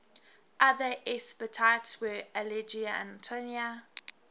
other epithets were ageleia and itonia